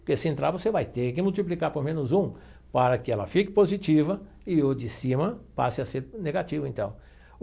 Porque se entrar, você vai ter que multiplicar por menos um para que ela fique positiva e o de cima passe a ser negativo, então.